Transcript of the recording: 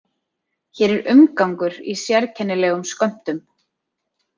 Hér er umgangur í sérkennilegum skömmtum.